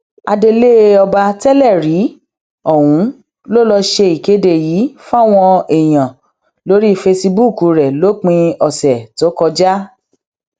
adeléọba tẹlẹ rí ohun ló ló ṣe ìkéde yìí fáwọn èèyàn lórí fesibúùkù rẹ lópin ọsẹ tó kọjá